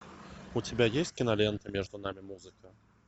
у тебя есть кинолента между нами музыка